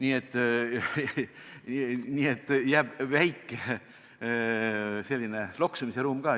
Jäetud on selline väike loksumisruum.